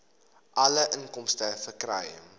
alle inkomste verkry